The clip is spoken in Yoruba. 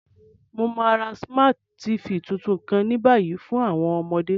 Mo ma ra Smart TV tuntun kan ni bayi fun àwọn ọmọde.